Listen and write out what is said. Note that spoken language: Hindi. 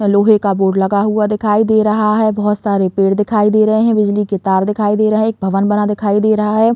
लोहे का बोर्ड लगा हुआ दिखाई दे रहा है। बोहोत सारे पेड़ दिखाई दे रहे। बिजली के तार दिखाई दे रहे। एक भवन बना दिखाई दे रहा है।